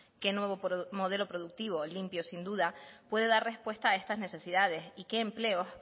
qué nuevo modelo productivo limpio sin duda puede dar respuesta a estas necesidades y qué empleos